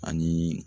Ani